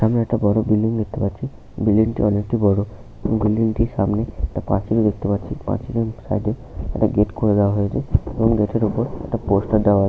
সামনে একটা বড় বিল্ডিং দেখতে পাচ্ছি । বিল্ডিং - টি অনেক বড় এবং বিল্ডিং - টির সামনে একটা পাঁচিল দেখতে পাচ্ছি । পাঁচিলটির সামনে গেট করে দেয়া হয়েছে । এবং গেট - এর ওপর একটা পোস্টার দেয়া আ --